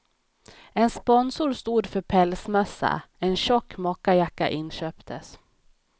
En sponsor stod för pälsmössa, en tjock mockajacka inköptes.